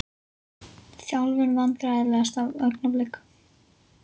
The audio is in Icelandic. Þjálfun Vandræðalegasta augnablik?